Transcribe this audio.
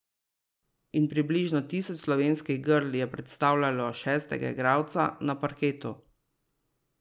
In približno tisoč slovenskih grl je predstavljalo šestega igralca na parketu.